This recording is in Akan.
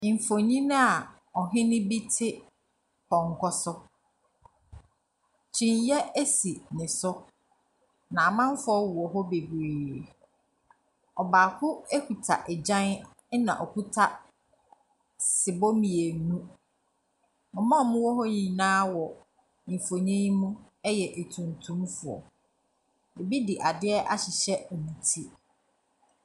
Ɔhene bi te pɔnkɔ so, kyiniiɛ si ne so na amanfoɔ wɔ hɔ bebree. Obaako kita agyan na ɔkita sebɔ mmienu. Wɔn wɔ wɔ nyinaa yɛ atuntumfoɔ, ɛbi de adeɛ ahyehyɛ wɔn ti.